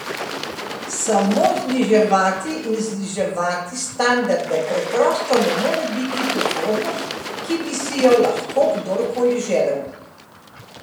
Samo zniževati in zniževati standarde preprosto ne more biti prihodnost, ki bi si jo lahko kdorkoli želel.